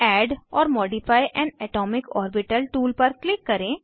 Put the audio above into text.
add or modify an atomic orbital tool पर क्लिक करें